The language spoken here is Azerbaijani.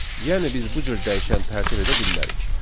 Yəni biz bu cür dəyişən tərtib edə bilmərik.